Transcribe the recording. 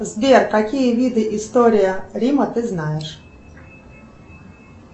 сбер какие виды история рима ты знаешь